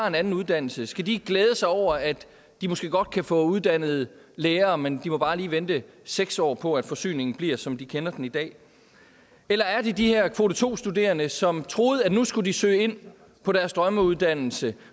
en anden uddannelse skal de glæde sig over at de måske godt kan få uddannet lærere men de må bare lige vente seks år på at forsyningen bliver som de kender den i dag eller er det de her kvote to studerende som troede at nu skulle de søge ind på deres drømmeuddannelse